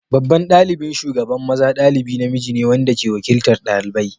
Babban ɗalibin shugaban maza dalibi namiji ne wanda ke wakiltar ɗalibai.